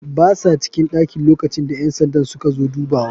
Basa cikin ɗakin lokacinda ƴansandan suka zo dubawa.